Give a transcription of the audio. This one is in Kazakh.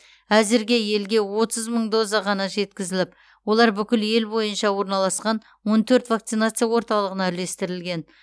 әзірге елге отыз мың доза ғана жеткізіліп олар бүкіл ел бойынша орналасқан он төрт вакцинация орталығына үлестірілген